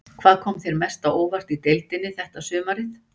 Hvað kom þér mest á óvart í deildinni þetta sumarið?